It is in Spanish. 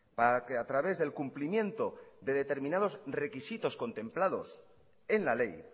para que a través del cumplimiento de determinados requisitos contemplados en la ley